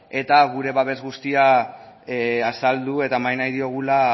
eta gure babes guztia azaldu eta eman nahi diogula